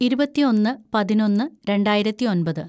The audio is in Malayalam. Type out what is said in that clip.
ഇരുപത്തിയൊന്ന് പതിനൊന്ന് രണ്ടായിരത്തിയൊമ്പത്‌